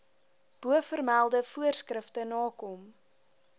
bovermelde voorskrifte nakom